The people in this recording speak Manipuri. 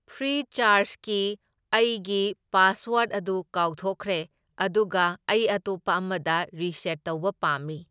ꯐ꯭ꯔꯤꯆꯥꯔꯁꯀꯤ ꯑꯩꯒꯤ ꯄꯥꯁꯋꯥꯔꯗ ꯑꯗꯨ ꯀꯥꯎꯊꯣꯛꯈ꯭ꯔꯦ, ꯑꯗꯨꯒ ꯑꯩ ꯑꯇꯣꯞꯄ ꯑꯃꯗ ꯔꯤꯁꯦꯠ ꯇꯧꯕ ꯄꯥꯝꯃꯤ꯫